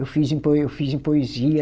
Eu fiz em poe, eu fiz em poesia.